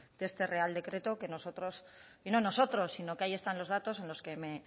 de este real decreto que nosotros y no nosotros sino que ahí están los datos en los que me